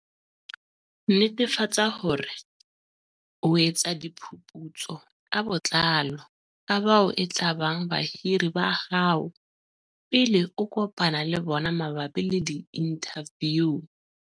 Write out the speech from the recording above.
Netefatsa hore o etsa diphuputso ka botlalo ka bao e tlabang bahiri ba hao pele o kopana le bona mabapi le diinthaviu.